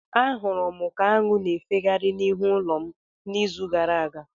Ahụrụ m ka aṅụ na-efegharị n'ihu ulo m n'izu gara aga.